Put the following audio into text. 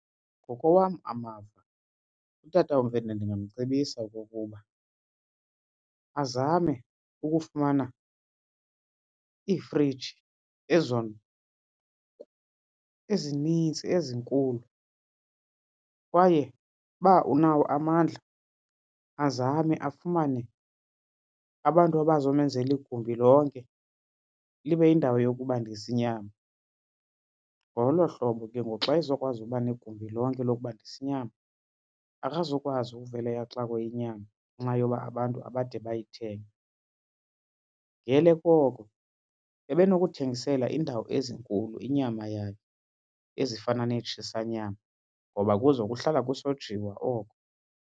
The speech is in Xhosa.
Ngokowam amava utata uMfene ndingamcebisa okokuba azame ukufumana iifriji ezinintsi ezinkulu kwaye uba unawo amandla azame afumane abantu abazomenzela igumbi lonke libe yindawo yokubandisa inyama. Ngolo hlobo ke ngoku xa ezokwazi uba negumbi lonke lokubandisa inyama akazukwazi uvele axakwe yinyama ngenxa yoba abantu abade bayithenge. Ngele koko ebenokuthengisela iindawo ezinkulu inyama yakhe ezifana neetshisanyama ngoba kuzo kuhlala kusojiswa oko.